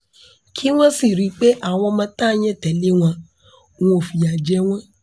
kí wọ́n sì rí i pé àwọn ọmọ tá a yàn tẹ́lẹ̀ wọn wọn ò fìyà jẹ wọ́n